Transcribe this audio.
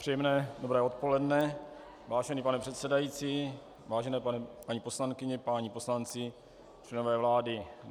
Příjemné dobré odpoledne, vážený pane předsedající, vážené paní poslankyně, páni poslanci, členové vlády.